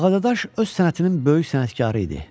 Ağadaş öz sənətinin böyük sənətkarı idi.